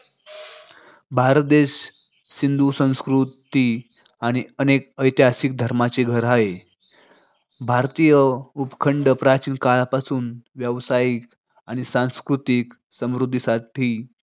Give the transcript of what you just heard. भारत देश सिंधू संस्कृती आणि अनेक ऐतिहासिक धर्मांचे घर हाय. भारतीय उपखंड प्राचीन काळापासून व्यावसायिक आणि सांस्कृतिक समृद्धीसाठी